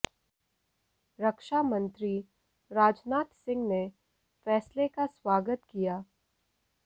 रक्षा मंत्री राजनाथ सिंह ने फैसले का स्वागत किया